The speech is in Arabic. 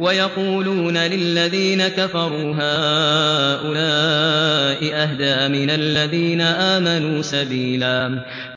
وَيَقُولُونَ لِلَّذِينَ كَفَرُوا هَٰؤُلَاءِ أَهْدَىٰ مِنَ الَّذِينَ آمَنُوا سَبِيلًا